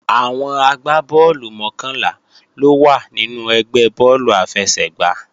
Àwọn agbá bọ́ọ̀lù mọ́kànlá ló wà nínú ẹgbẹ́ bọ́ọ̀lù àfẹsẹ̀gbá